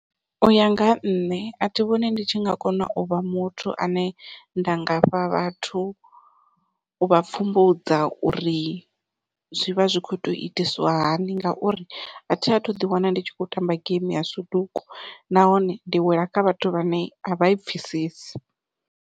Uya nga ha nṋe athi vhoni ndi tshi nga kona u vha muthu ane nda ngafha vhathu u vha pfhumbudza uri zwi vha zwi kho to itiswa hani ngauri athi athu ḓi wana ndi tshi khou tamba geimi ya suduku nahone ndi wela kha vhathu vhane avha i pfhesesi.